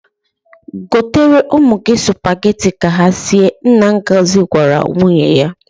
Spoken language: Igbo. Gotere ụmụ gị sụpageti ka ha sie," nna Ngozi gwara nwunye ya.